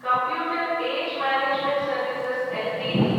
computer age management services Ltd